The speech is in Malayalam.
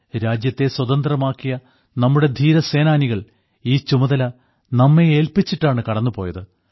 രാജ്യത്തെ സ്വതന്ത്രമാക്കിയ നമ്മുടെ ധീരസേനാനികൾ ഈ ചുമതല നമ്മെ ഏൽപ്പിച്ചിട്ടാണ് കടന്നുപോയത്